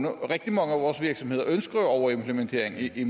rigtig mange af vores virksomheder ønsker overimplementering i